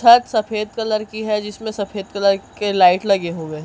छत सफेद कलर की हैं जिसमें सफेद कलर के लाईट लगे हुए--